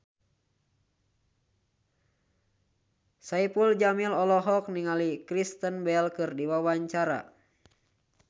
Saipul Jamil olohok ningali Kristen Bell keur diwawancara